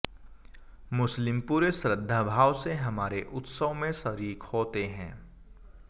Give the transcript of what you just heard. मुस्लिम पूरे श्रद्धाभाव से हमारे उत्सव में शरीक होते हैं